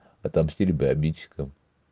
отомстили бы обидчикам